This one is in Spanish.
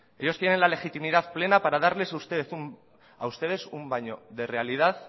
ellos tienen la legitimidad plena para darles a ustedes un baño de realidad